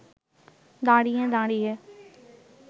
দাঁড়িয়ে দাঁড়িয়ে